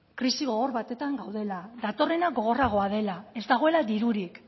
krisi gogor batean gaudela datorrena gogorragoa dela ez dagoela dirurik